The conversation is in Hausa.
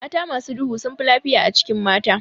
Mata masu duhu sunfi lafiya a cikin mata.